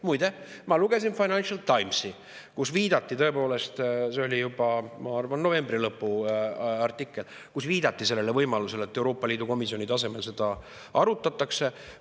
Muide, ma lugesin Financial Timesi, kus viidati – tõepoolest, see artikkel oli juba, ma arvan, novembri lõpus – võimalusele, et Euroopa Liidu komisjoni tasemel seda arutatakse.